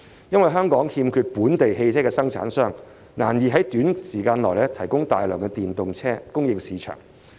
由於香港欠缺本地汽車生產商，難以在短時間提供大量電動車供應市場。